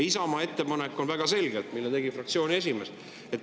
Isamaa ettepanek, mille tegi fraktsiooni esimees, on väga selge.